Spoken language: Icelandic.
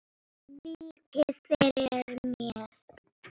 Víkið fyrir mér.